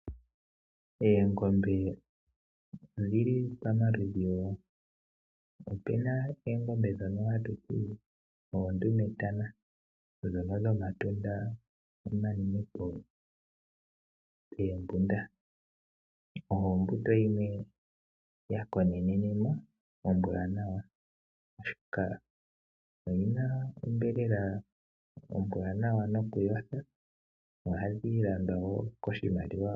Oongombe odhi li pamaludhi. Opu na oongombe ndhono hatu ti oondumetana ndhono dhomatunda omanene poombunda. Oyo ombuto yimwe ya konenenwa ombwaanawa, oshoka oyi na onyama ombwanawa nokuyotha.